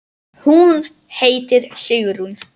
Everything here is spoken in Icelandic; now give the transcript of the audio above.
Hún heitir Sigrún.